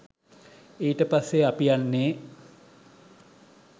ඊට පස්සේ අපි යන්නේ